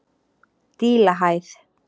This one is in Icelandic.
Dílahæð